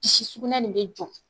Bisi sugunɛ nin bɛ jɔ